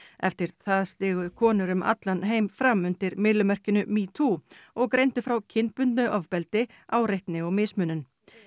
eftir það stigu konur um allan heim fram undir myllumerkinu metoo og greindu frá kynbundnu ofbeldi áreitni og mismunun